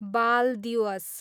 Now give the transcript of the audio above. बाल दिवस